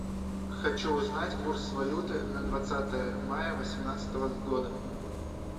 хочу узнать курс валюты на двадцатое мая восемнадцатого года